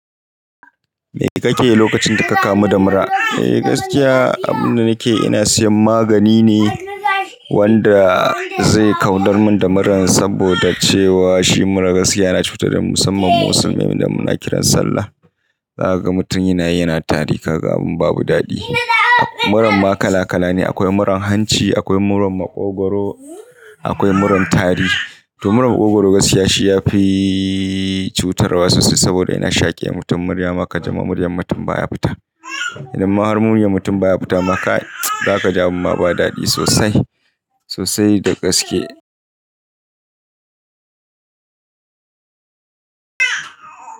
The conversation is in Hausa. Me kake yi lokacin da ka kamu da mura? Eh gaskiya abin da nake yi, ina siyan magani ne wanda zai kawdar mun da muran saboda cewa shi mura gaskiya yana cutar da musamman musulmai idan muna kiran sallah. Za ka ga mutum yana yi, yana tari. Ka ga abun babu daɗi. Muran ma kala kala ne. Akwai muran hanci, akwai muran maƙogwaro, akwai muran tari. To muran maƙogwaro gaskiya shi ya fi cutarwa sosai saboda yana shaƙe. Mutum murya maka, jima murya mutum baya fita. Idan ma har mutum baya fita ma kai, za ka ji abin ma ba daɗi sosai, sosai da gaske.